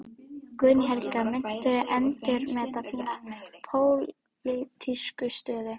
Guðný Helga: Muntu endurmeta þína pólitísku stöðu?